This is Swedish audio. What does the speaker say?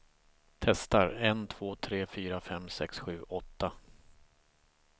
Testar en två tre fyra fem sex sju åtta.